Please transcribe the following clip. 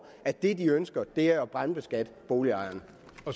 at det de ønsker er at brandskatte boligejerne